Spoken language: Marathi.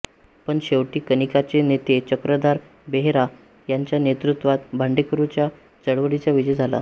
पण शेवटी कनिकाचे नेते चक्रधर बेहेरा यांच्या नेतृत्वात भाडेकरूंच्या चळवळीचा विजय झाला